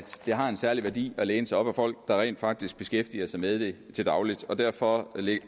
det har en særlig værdi at læne sig op ad folk der rent faktisk beskæftiger sig med det til daglig og derfor